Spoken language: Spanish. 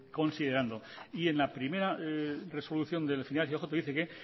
considerando y en la primera resolución del final y ojo que dice que